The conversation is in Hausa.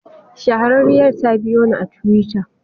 Shahararriyar ta biyo ni a twitter.